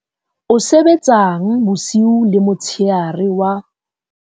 o sebetsang bosiu le motshehare wa